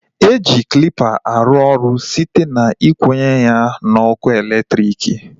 E ji klịpa arụ ọrụ site na ikwunye ya n'ọkụ elektriki